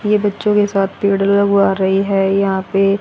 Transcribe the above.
ये बच्चों के साथ पेड़ लगवा रही है यहां पे--